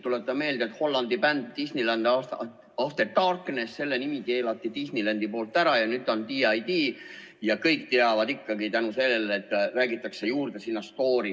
Tuletan meelde, et Hollandi bändi Disneyland After Dark nime keelas Disneyland ära ja nüüd on see D.A.D, aga kõik teavad ikkagi tänu sellele, et räägitakse sinna juurde stoori.